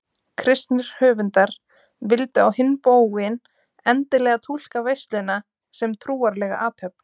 Kristnir höfundar vildu á hinn bóginn endilega túlka veisluna sem trúarlega athöfn.